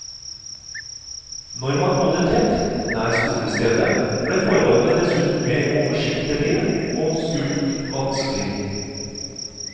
Når man bodde tett, nær skolestedet, ble forholdene dessuten mer oversiktelige og skulk vanskelig.